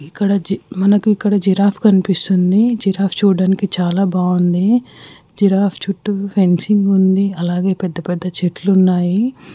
ఇక్కడ జి-మనకి ఇక్కడ జిరాఫ్ కనిపిస్తుంది జిరాఫ్ చూడ్డానికి చాలా బాగుంది జిరాఫ్ చుట్టూ ఫెన్సింగ్ ఉంది అలాగే పెద్ద పెద్ద చెట్లు ఉన్నాయి.